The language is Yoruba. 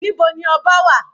Níbo ni ọba wà?